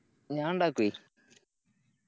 ഞാനീണ്ടക്കുവെയ്